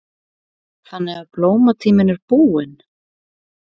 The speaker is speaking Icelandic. Þannig að blómatíminn er búinn?